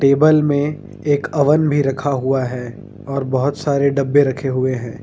Table में एक oven भी रखा हुआ है और बहुत सारे डब्बे रखे हुए हैं।